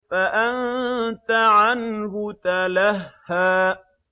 فَأَنتَ عَنْهُ تَلَهَّىٰ